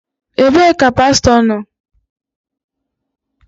Ebee ka pastọ nọ?